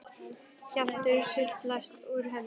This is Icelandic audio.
Hlátur sullast út úr henni.